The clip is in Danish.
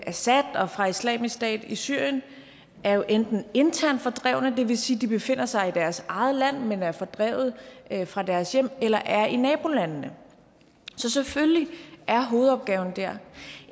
assad og fra islamisk stat i syrien er jo enten internt fordrevne det vil sige at de befinder sig i deres eget land men er fordrevet fra deres hjem eller er i nabolandene så selvfølgelig er hovedopgaven der